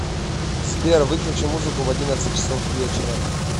сбер выключи музыку в одиннадцать часов вечера